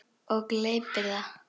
Og gleypir það.